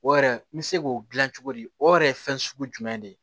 O yɛrɛ n bɛ se k'o dilan cogo di o yɛrɛ ye fɛn sugu jumɛn de ye